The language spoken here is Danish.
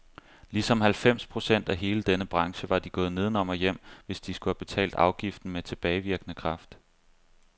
Ligesom halvfems procent af hele denne branche var de gået nedenom og hjem, hvis de skulle have betalt afgiften med tilbagevirkende kraft.